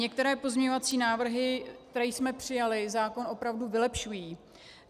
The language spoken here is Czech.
Některé pozměňovací návrhy, které jsme přijali, zákon opravdu vylepšují.